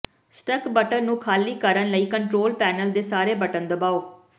stuck button ਨੂੰ ਖਾਲੀ ਕਰਨ ਲਈ ਕੰਟਰੋਲ ਪੈਨਲ ਦੇ ਸਾਰੇ ਬਟਨ ਦਬਾਓ